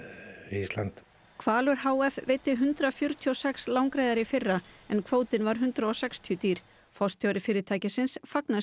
Ísland hvalur h f veiddi hundrað fjörutíu og sex langreyðar í fyrra en kvótinn var hundrað og sextíu dýr forstjóri fyrirtækisins fagnar